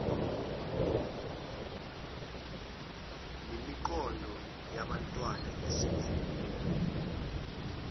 nemiqondo yabantwana esakhula